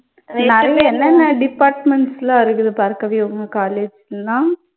நடுவுல என்னென்ன departments எல்லாம் இருக்குது பார்கவி உங்க college ல எல்லாம்.